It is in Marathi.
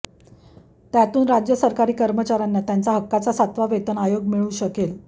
त्यातून राज्य सरकारी कर्मचाऱ्यांना त्यांच्या हक्काचा सातवा वेतन आयोग मिळू शकेल